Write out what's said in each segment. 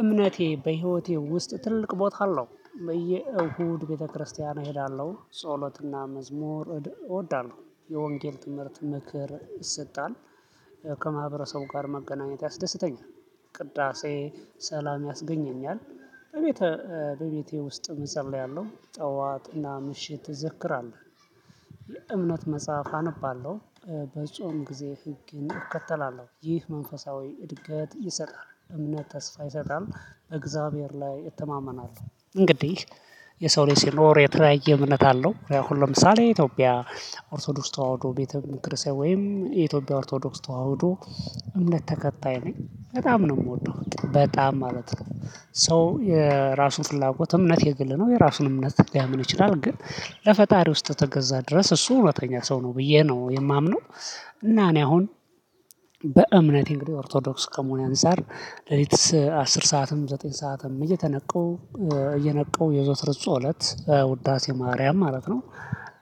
እምነቴ በህይወቴ ውስጥ ትልቅ ቦታ አለው በየእሁድ ቤተክርስቲያን እሄዳለሁ ጸሎትና መዝሙር እወዳለሁ የወንጌል ትምህርት ምክር ይሰጣል። ከማህበረሰቡ ጋር መገናኘት ያስደስተኛል። ቅዳሴ ሰላም ያስገኘኛል። በቤቴ በቤቴ ውስጥ እፀለያለሁ ጠዋትና ምሽት ይዘክራል። የእምነት መጽሐፍ አነባለሁ። በጾም ጊዜ ህግን እከተላለሁ ይህ መንፈሳዊ እድገት ይሰጣል። እምነት ተስፋ ይሰጣል በእግዚአብሔር ላይ እተማመናለሁ እንግዲህ። የሰው ልጅ ሲኖር የተለያየ እምነት አለው ለምሳሌ ኢትዮጵያ። ኦርቶዶክስ ተዋህዶ ቤተ ክርስቲያን ወይም የኢትዮጵያ ኦርቶዶክስ ተዋህዶ። እምነት ተከታይ ነኝ በጣም ነው የምወደው በጣም ማለት ነው። ሰው የራሱን ፍላጎት እምነት የግል ነው የራሱን እምነት ሊያምን ይችላል ግን ለፈጣሪ ውስጥ ተገዛ ድረስ እሱ እውነተኛ ሰው ነው ብዬ ነው የማምነው። እና እኔ አሁን በእምነቴ እንግዲህ ኦርቶዶክስ ከመሆን አንፃር ሌሊትስ አስር ሰዓትም ዘጠኝ ሰዓትም እየተነቀው እየነቀው የዘወተር ፅሎት ውዳሴ ማርያም ማለት ነው።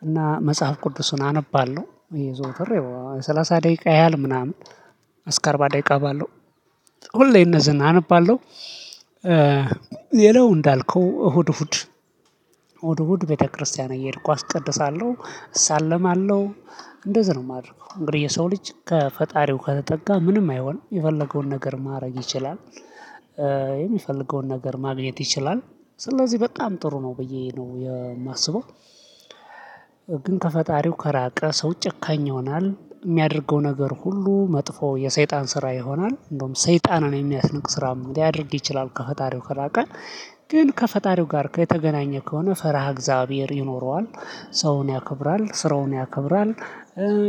እና መጽሐፍ ቅዱስን አነባለሁ የዘወተር ያው የ ሰላሳ ደቂቃ ያህል ምናምን እስከ አርባ ደቂቃ ባለው ሁሌ እነዚህን አነባለሁ። ሌላው እንዳልከው እሁድ እሁድ እሁድ ቤተክርስቲያን እየሄድኩ አስቀድሳለሁ። እሳለማለሁ እንደዚህ ነው የማደርገው። እንግዲህ የሰው ልጅ ከፈጣሪው ከተጠጋ ምንም አይሆን የፈለገውን ነገር ማድረግ ይችላል። የሚፈልገውን ነገር ማግኘት ይችላል። ስለዚህ በጣም ጥሩ ነው ብዬ ነው የማስበው። ግን ከፈጣሪው ከራቀ ሰው ጨካኝ ይሆናል የሚያደርገው ነገር ሁሉ መጥፎ የሰይጣን ስራ ይሆናል እንደውም ሰይጣንን የሚያስነቅ ስራ ላይደርግ ይችላል ከፈጣሪው ከራቀ። ግን ከፈጣሪው ጋር ከተገናኘ ከሆነ ፈርሃ እግዚአብሔር ይኖረዋል። ሰውን ያከብራል ስራውን ያከብራል።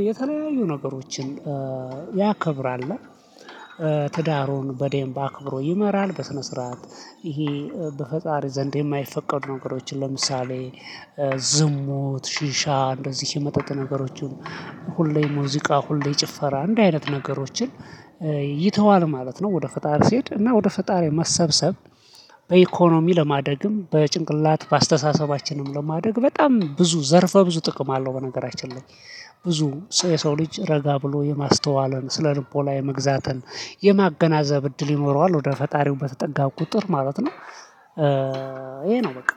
የተለያዩ ነገሮችን ያከብራል። ትዳሩን በዴም በአክብሮ ይመራል በስነ ስርዓት። ይሄ በፈጣሪ ዘንድ የማይፈቀዱ ነገሮችን ለምሳሌ ዝሙት ሽሻ እንደዚህ የመጠጥ ነገሮችን። ሁሌ ሙዚቃ ሁሌ ጭፈራ እንደዚህ አይነት ነገሮችን ይተዋል ማለት ነው። ወደ ፈጣሪ ሲሄድ እና ወደ ፈጣሪ መሰብሰብ በኢኮኖሚ ለማደግም በጭንቅላት በአስተሳሰባችንም ለማደግ በጣም ብዙ ዘርፈ ብዙ ጥቅም አለው። በነገራችን ላይ ብዙ የሰው ልጅ ረጋ ብሎ የማስተዋለን ስነ ልቦና የመግዛትን የማገናዘብ እድል ይኖረዋል ወደ ፈጣሪው በተጠጋ ቁጥር ማለት ነው። ይሄ ነው በቃ